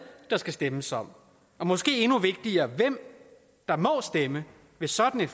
der skal stemmes om og måske endnu vigtigere hvem der må stemme ved sådan en